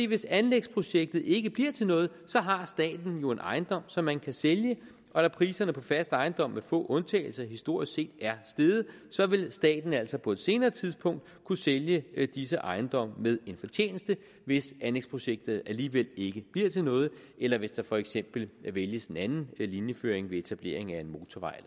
hvis anlægsprojektet ikke bliver til noget så har staten jo en ejendom som man kan sælge og da priserne på fast ejendom med få undtagelser historisk set er steget så vil staten altså på et senere tidspunkt kunne sælge disse ejendomme med en fortjeneste hvis anlægsprojektet alligevel ikke bliver til noget eller hvis der for eksempel vælges en anden linjeføring ved etablering af en motorvej